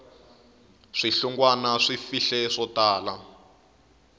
swihlungwana swi fihle swo tala